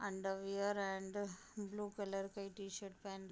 underwear and blue colour का t-shirt पहन --